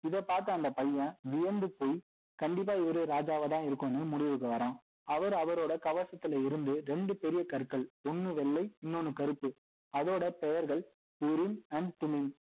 இதை பார்த்த அந்த பையன் வியந்து போய் கண்டிப்பா இவரு ராஜாவா தான் இருக்கணும்னு முடிவுக்கு வரான் அவர் அவரோட கவசத்துல இருந்து ரெண்டு பெரிய கற்கள் ஒன்னு வெள்ளை இன்னொன்னு கருப்பு அதோட பெயர்கள் and